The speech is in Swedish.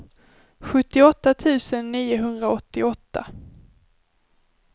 sjuttioåtta tusen niohundraåttioåtta